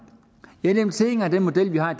jeg er nemlig tilhænger af den model vi har